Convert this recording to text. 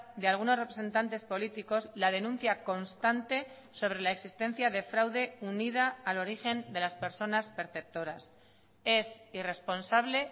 de algunos representantes políticos la denuncia constante sobre la existencia de fraude unida al origen de las personas perceptoras es irresponsable